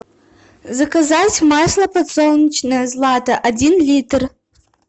заказать масло подсолнечное злато один литр